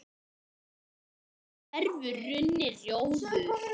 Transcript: undir hverfur runni, rjóður